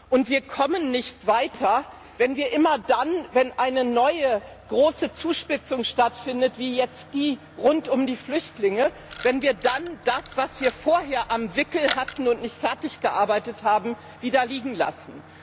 Und wir kommen nicht weiter, wenn wir immer dann, wenn eine neue, große Zuspitzung stattfindet, wie jetzt die rund um die Flüchtlinge, wenn wir dann das, was wir vorher am Wickel hatten und nicht fertig gearbeitet haben, wieder liegen lassen.